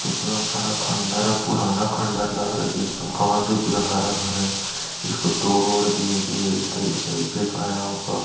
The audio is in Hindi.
इतना बड़ा खंडर है पुराना खंडर लग रहा हैदेख लो काई से पूरा हरा-भरा हैं इसको तोड़ ओड़ दिया भी है फेकाया होगा।